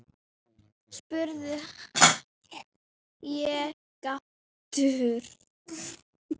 spurði ég gáttuð.